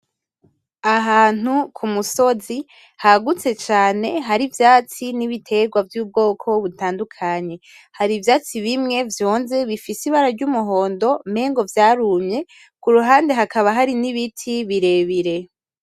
Ahantu ku musozi hagutse cane hari ivyatsi n'ibiterwa vyubwoko butandukanye, hari ivyatsi bimwe vyonze bifise ibara ry'umuhondo umengo vyarumye kuruhande hakaba hari n'ibiti birebire.